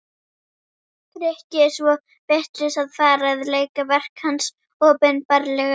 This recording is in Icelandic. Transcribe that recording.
Grikki svo vitlaus að fara að leika verk hans opinberlega.